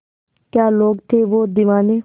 क्या लोग थे वो दीवाने